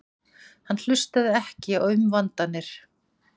Hann hlustaði ekki á umvandanir.